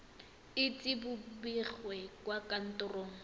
ise bo begwe kwa kantorong